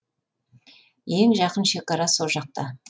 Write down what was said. ең жақын шекара со жақта